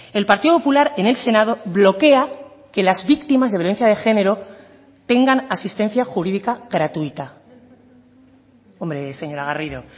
el partido popular en el senado bloquea que las víctimas de violencia de género tengan asistencia jurídica gratuita hombre señora garrido